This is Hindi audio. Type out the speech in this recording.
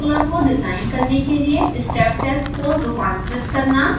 एक proportional controller को डिज़ाइन करने के लिए step test code रूपांतरित करना